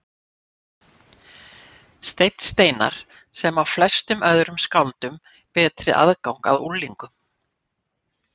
Stein Steinarr, sem á flestum öðrum skáldum betri aðgang að unglingum.